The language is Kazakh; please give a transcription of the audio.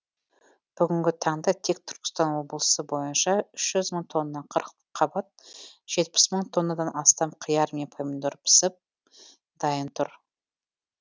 бүгінгі таңда тек түркістан облысы бойынша үш жүз мың тонна қырыққабат жетпіс мың тоннадан астам қияр мен помидор пісіп дайын тұр